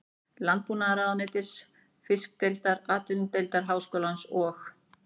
Landbúnaðarráðuneytisins, Fiskideildar Atvinnudeildar Háskólans og